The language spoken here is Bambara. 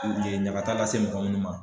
E ɲankata lase mɔgɔ munnu ma.